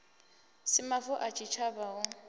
si mavu a tshitshavha hu